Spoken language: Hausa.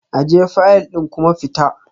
Ajiye fayil ɗin kuma fita